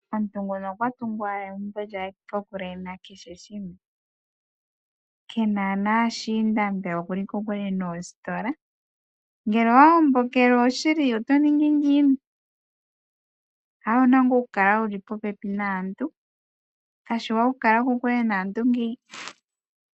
Omuntu nguno okwa tungu owala egumbo lyaye . Kena naashinda mbela okuli kokule noositola. Ngele owa gombokelwa oshili oto ningi ngiini? Aawe owu na ngaa okukala wuli popepi naantu, kayishi oshiwanawa okukala